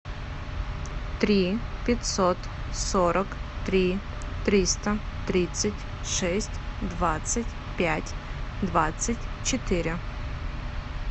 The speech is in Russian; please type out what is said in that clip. три пятьсот сорок три триста тридцать шесть двадцать пять двадцать четыре